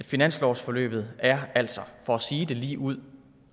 finanslovsforløbet er altså for at sige det lige ud